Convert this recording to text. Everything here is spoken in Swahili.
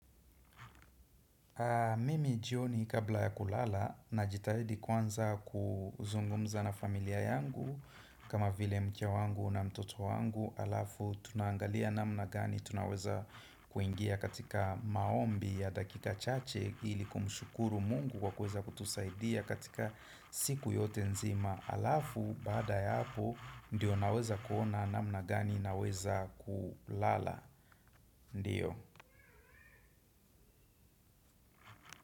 Mimi jioni kabla ya kulala najitahidi kwanza kuzungumza na familia yangu kama vile mke wangu na mtoto wangu halafu tunaangalia namna gani tunaweza kuingia katika maombi ya dakika chache ili kumshukuru Mungu kwa kuweza kutusaidia katika siku yote nzima halafu baada ya hapo ndiyo naweza kuona namna gani naweza kulala. Ndiyo.